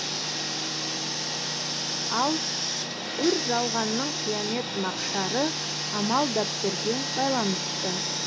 ал үр жалғанның қиямет мақшары амал дәптерге байланысты